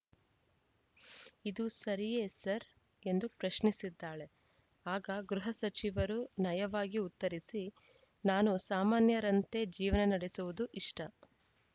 ಇದು ಸರಿಯೇ ಸರ್‌ ಎಂದು ಪ್ರಶ್ನಿಸಿದ್ದಾಳೆ ಆಗ ಗೃಹ ಸಚಿವರು ನಯವಾಗಿ ಉತ್ತರಿಸಿ ನಾನು ಸಾಮಾನ್ಯರಂತೆ ಜೀವನ ನಡೆಸುವುದು ಇಷ್ಟ